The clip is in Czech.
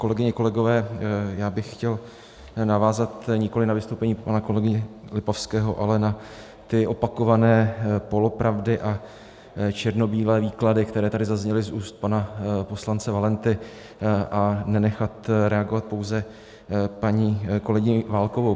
Kolegyně, kolegové, já bych chtěl navázat nikoliv na vystoupení pana kolegy Lipavského, ale na ty opakované polopravdy a černobílé výklady, které tady zazněly z úst pana poslance Valenty, a nenechat reagovat pouze paní kolegyni Válkovou.